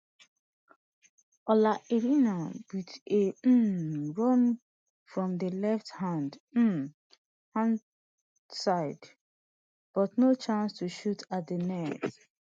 ola aina wit a um run from di left um hand side but no chance to shoot at di net